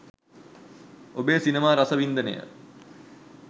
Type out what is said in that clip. ඔබේ සිනමා රසවින්දනය